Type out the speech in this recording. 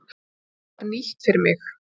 Þetta var nýtt fyrir mig.